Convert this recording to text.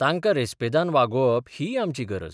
तांकां रेस्पेदान वागोवप हीय आमची गरज.